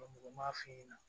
mɔgɔ m'a f'i ɲɛna